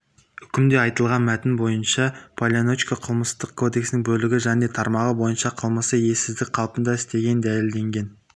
үкімде айтылған мәтін бойынша поляничко қылмыстық кодексінің бөлігі және тармағы бойынша қылмысы ессіздік қалпында істегені дәлелденген